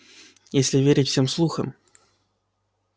если верить всем слухам